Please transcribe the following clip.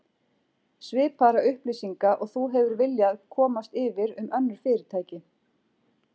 Svipaðra upplýsinga og þú hefur viljað komast yfir um önnur fyrirtæki